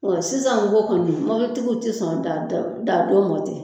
Bon sisan mɔgɔ kɔni mobilitigiw tɛ sɔn daa daadon ma ten